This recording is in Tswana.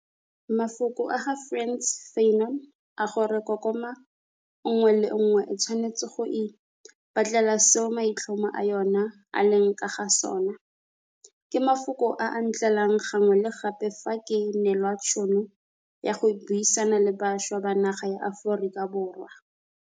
Mafoko a ga Frantz Fanon a gore kokoma nngwe le nngwe e tshwanetse go ipatlela seo maitlhomo a yona a leng ka ga sona' ke mafoko a a ntlelang gangwe le gape fa ke neelwa tšhono ya go buisana le bašwa ba naga ya Aforika Borwa.